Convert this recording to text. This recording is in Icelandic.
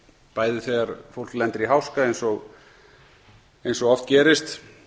bæði þegar fólk lendir í háska eins og oft gerist